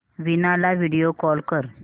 वीणा ला video call कर